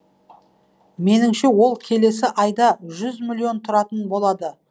меніңше ол келесі айда жүз миллион тұратын болады